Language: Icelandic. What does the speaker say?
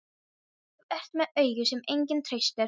Þú ert með augu sem enginn treystir.